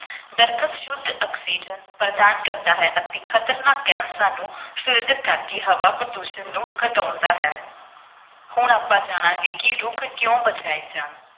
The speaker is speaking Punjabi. ਦਰੱਖਤ ਸ਼ੁੱਧ ਆਕਸੀਜਨ ਪ੍ਰਦਾਨ ਕਰਦਾ ਹੈ ਅਤੇ ਖਤਰਨਾਕ ਗੈਸਾਂ ਨੂੰ filter ਕਰਕੇ ਹਵਾ ਪ੍ਰਦੂਸ਼ਣ ਨੂੰ ਘਟਾਉਂਦਾ ਹੈ ਹੁਣ ਆਪਾਂ ਜਾਣਾਂਗਾ ਕਿ ਰੁੱਖ ਕਿਉੁਂ ਬਚਾਏ ਜਾਣ।